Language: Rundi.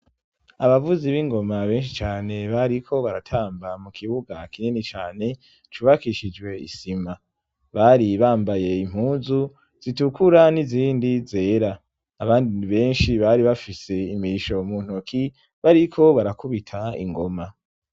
Abavuzi b'ingoma benshi cane bariko baratamba mu kibuga kinini cyane cubakishijwe isima bari bambaye impuzu zitukura n'izindi zera abandi benshi bari bafise imiisho mu ntoki bariko barakubita ingoma.